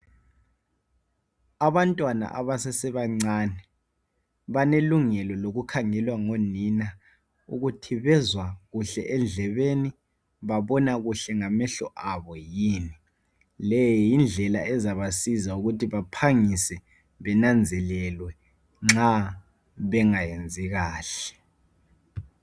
Abantwana abasesebancane balelungelo lokukgangelwa ngonina ukuthi bezaw kuhle edlebeni, babona kuhle ngamehlo abo yini. Leyi yindlela ezabasiza ukuthi bephangise bananzelelwe nxa bengayenzi kahle.